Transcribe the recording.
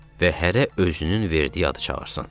Və hərə özünün verdiyi adı çağırsın.